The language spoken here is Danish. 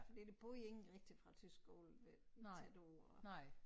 Fordi der boede ingen rigtigt fra æ tysk skole øh tæt på